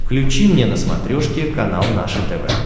включи мне на смотрешке канал наше тв